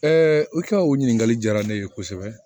i ka o ɲininkali diyara ne ye kosɛbɛ